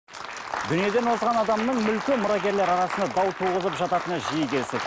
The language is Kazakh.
дүниеден озған адамның мүлкі мұрагерлер арасында дау туғызып жататыны жиі кездеседі